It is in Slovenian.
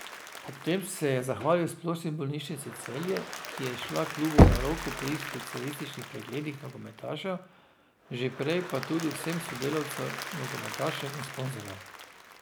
Ob tem se je zahvali Splošni bolnišnici Celje, ki je šla klubu na roko pri specialističnih pregledih nogometašev, že prej pa tudi vsem sodelavcem, nogometašem in sponzorjem.